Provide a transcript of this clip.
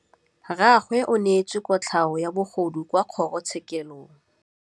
Rragwe o neetswe kotlhaô ya bogodu kwa kgoro tshêkêlông.